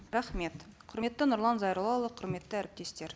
рахмет құрметті нұрлан зайроллаұлы құрметті әріптестер